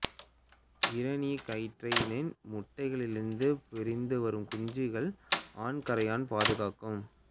இராணிக்கறையானின் முட்டைகளிலிருந்து பொரிந்து வரும் குஞ்சுகளை ஆண் கறையான் பாதுகாக்கும்